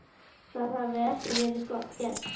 Það hafi ekki verið gert.